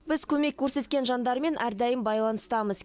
біз көмек көрсеткен жандармен әрдайым байланыстамыз